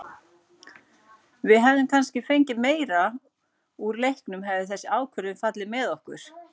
Við hefðum kannski fengið meira úr leiknum hefði þessi ákvörðun fallið með okkur.